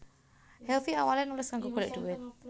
Helvy awale nulis kanggo golek duit